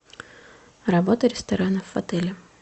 работа ресторанов в отеле